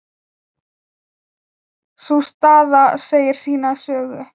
Sú staða segir sína sögu.